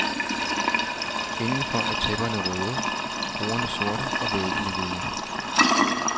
Indenfor er tæpperne røde, bordene sorte og væggene hvide.